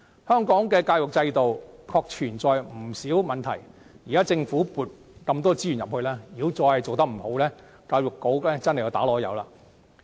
香港的教育制度確實存在不少問題，現時政府向教育撥出大量資源，如果仍然做得不好，便是教育局的過失了。